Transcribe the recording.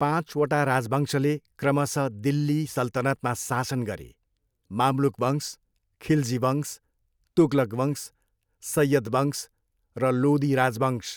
पाँचवटा राजवंशले क्रमशः दिल्ली सल्तनतमा शासन गरे, मामलुक वंश, खिलजी वंश, तुगलक वंश, सय्यद वंश र लोदी राजवंश।